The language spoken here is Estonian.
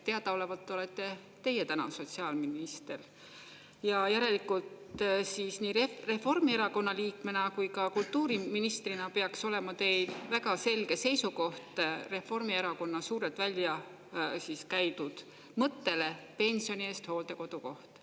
Teadaolevalt olete teie täna sotsiaalminister ja järelikult siis Reformierakonna liikmena kui ka kultuuriministrina peaks olema teil väga selge seisukoht Reformierakonna suurelt välja käidud mõttele pensioni eest hooldekodukoht.